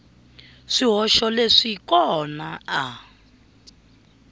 swihoxo leswi n kona a